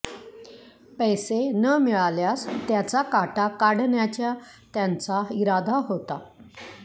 पैस न मिळाल्यास त्याचा काटा काढण्याच्या त्यांचा इरादा होता